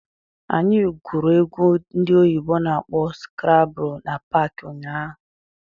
Anyị gwuru egwu ndị oyibo na-akpọ skrabụ na paakị ụnyaahụ.